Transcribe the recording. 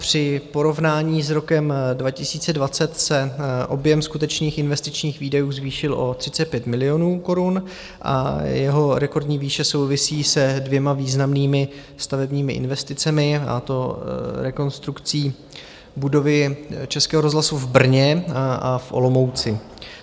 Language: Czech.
Při porovnání s rokem 2020 se objem skutečných investičních výdajů zvýšil o 35 milionů korun a jeho rekordní výše souvisí se dvěma významnými stavebními investicemi, a to rekonstrukcí budovy Českého rozhlasu v Brně a v Olomouci.